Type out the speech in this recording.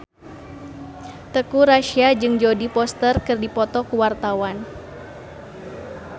Teuku Rassya jeung Jodie Foster keur dipoto ku wartawan